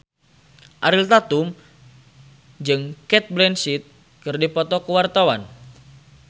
Ariel Tatum jeung Cate Blanchett keur dipoto ku wartawan